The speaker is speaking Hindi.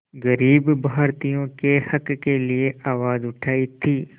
ग़रीब भारतीयों के हक़ के लिए आवाज़ उठाई थी